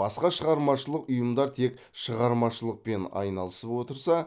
басқа шығармашылық ұйымдар тек шығармашылықпен айналысып отырса